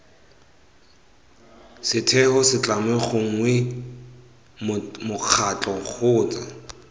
setheo setlamo gongwe mokgatlho kgotsa